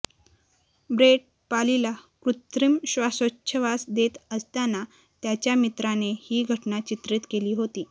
Brett पालीला कृत्रिम श्वासोच्छवास देत असताना त्याच्या मित्राने ही घटना चित्रीत केली होती